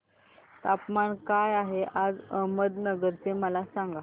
तापमान काय आहे आज अहमदनगर चे मला सांगा